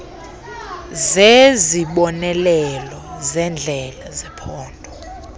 zezibonelelo zendlela zephondo